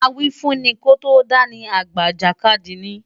Awífúnni kó tó dá ni, àgbà ìjàkadì ni.